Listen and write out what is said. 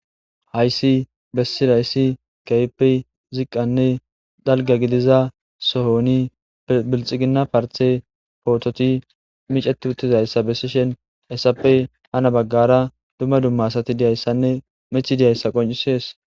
Hayssi bessilayssi kayppe ziqqanne dalga gidiza sohoni bilxigina parte poototi miceti uttizayssa bessi shen essappe hana baggara dumma dumma asati diyayssanne methi diyayssa qoncisees.